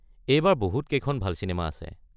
এইবাৰ বহুত কেইখন ভাল চিনেমা আছে।